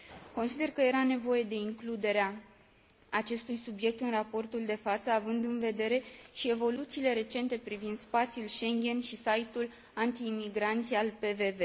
Consider că era nevoie de includerea acestui subiect în raportul de față, având în vedere și evoluțiile recente privind spațiul Schengen și site ul antiimigranți al PVV.